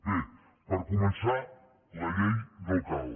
bé per començar la llei no cal